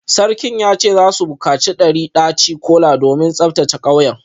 Sarkin ya ce za su bukaci dari daci-kola domin tsaftace kauyen